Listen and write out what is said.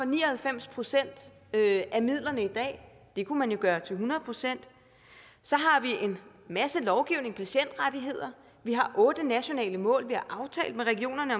ni og halvfems procent af midlerne i dag det kunne man jo gøre til hundrede procent så har vi en masse lovgivning og patientrettigheder vi har otte nationale mål vi aftale med regionerne